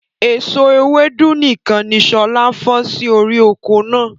Èso Ewédú nìkan ni sọlá fọn sì orí oko náà.